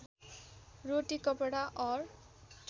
रोटी कपडा और